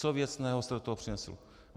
Co věcného jste do toho přinesl?